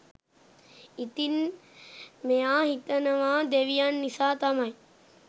ඉතින් මෙයා හිතනව දෙවියන් නිසා තමයි